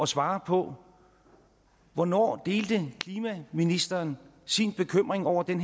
svare på hvornår delte klimaministeren sin bekymring over den